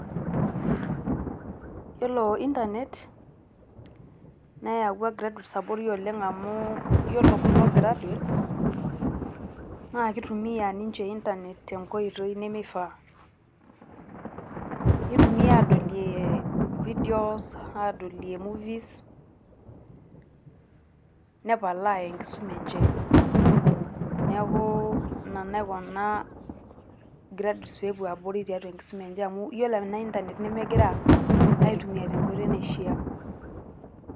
Yiolo internet neyau graduates abori amu yiolo kulo graduates naa kitumia ninche internet tenkae oitoi nemeifaa. nitumia adolie videos ,adolie movies nepalaa enkisuma e nche. niaku ina naikuna graduates pepuo abori tialo enkisua enche amu ore ena internet nemgira aitumia tenkoitoi naishiaa.